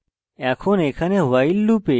এখন এখানে while loop